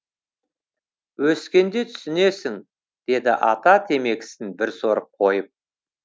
өскенде түсінесің деді ата темекісін бір сорып қойып